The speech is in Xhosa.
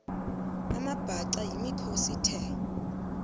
amabhaca yimikhosi the